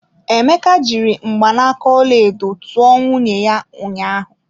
Emeka jiri mgbanaka ọlaedo tụọ nwunye ya ụnyaahụ.